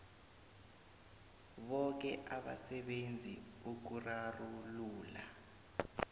boke abasebenzi ukurarulula